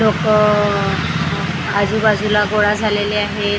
लोकं आजूबाजूला गोळा झालेले आहेत .